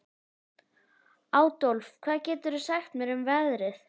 Adólf, hvað geturðu sagt mér um veðrið?